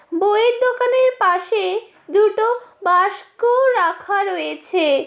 বইয়ের দোকানের পাশে দুটো বাসকো রাখা রয়েছে।